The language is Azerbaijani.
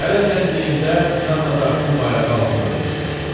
Hələ gəncliyində Janna Darkın bayrağı altında vuruşmuşdu.